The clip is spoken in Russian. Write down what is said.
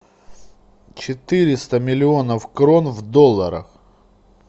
четыреста миллионов крон в долларах